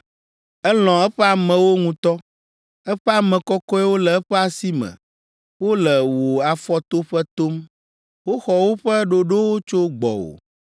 Elɔ̃ eƒe amewo ŋutɔ eƒe ame kɔkɔewo le eƒe asi me wole wò afɔtoƒe tom woxɔ woƒe ɖoɖowo tso gbɔwò.